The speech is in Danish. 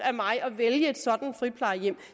af mig at vælge et sådant friplejehjem